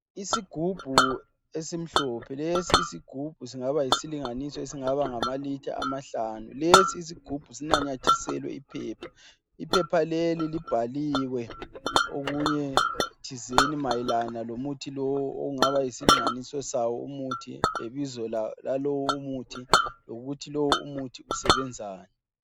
Isigubhu esimhlophe. Lesi isigubhu singaba yisilinganiso esingaba ngama litha amahlanu. Lesi isigubhu sinanyathiselwe iphepha. Iphepha leli libhaliwe okunye thizeni mayelana lomuthi lowu okungaba yisilinganiso sawo umuthi ,lebizo lalowu umuthi ,lokuthi lowu muthi usebenzani .